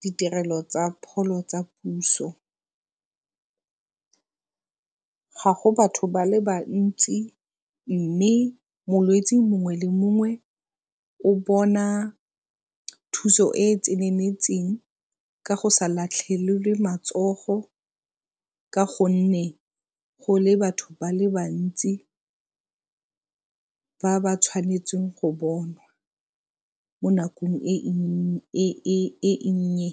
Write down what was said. ditirelo tsa pholo tsa puso. Ga go batho ba le bantsi mme molwetsi mongwe le mongwe o bona thuso e e tseneletseng ka go sa latlhelelwe matsogo ka gonne go le batho ba le bantsi ba ba tshwanetseng go bonwa mo nakong e nnye.